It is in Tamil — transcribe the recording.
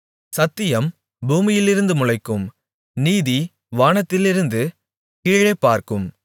சத்தியம் பூமியிலிருந்து முளைக்கும் நீதி வானத்திலிருந்து கீழே பார்க்கும்